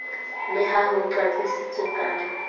le ha ho qaqisitswe ka